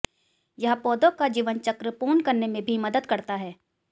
यह पौधों का जीवनचक्र पूर्ण करने में भी मदद करता है